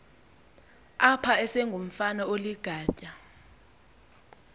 apha esengumfana oligatya